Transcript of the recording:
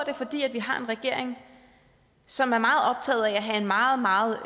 er fordi vi har en regering som er meget optaget af at have en meget meget